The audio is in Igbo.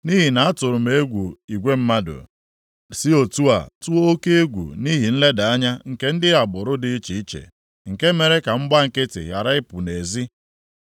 nʼihi na m tụrụ egwu igwe mmadụ, si otu a, tụọ oke egwu nʼihi nleda anya nke ndị agbụrụ dị iche iche, nke mere ka m gbaa nkịtị ghara ịpụ nʼezi.